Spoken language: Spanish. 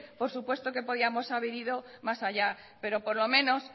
por supuesto que podíamos haber ido más allá pero por lo menos